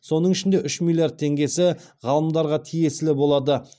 соның ішінде үш миллиард теңгесі ғалымдарға тиесілі болады